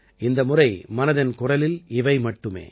இந்த முறை மனதின் குரலில் இவை மட்டுமே